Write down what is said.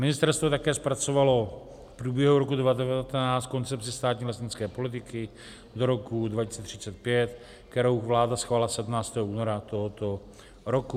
Ministerstvo také zpracovalo v průběhu roku 2019 koncepci státní lesnické politiky do roku 2035, kterou vláda schválila 17. února tohoto roku.